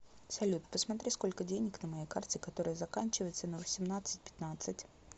салют посмотри сколько денег на моей карте которая заканчивается на восемнадцать пятнадцать